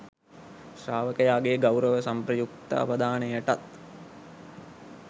ශ්‍රාවකයාගේ ගෞරව සම්ප්‍රයුක්ත අවධානයටත්